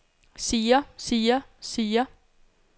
siger siger siger